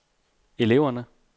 eleverne